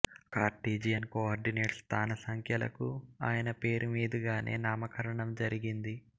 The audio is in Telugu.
కార్టీజియన్ కోర్డినేట్స్ స్థాన సంఖ్యలు కు ఆయన పేరుమీదుగానే నామకరణం జరిగింది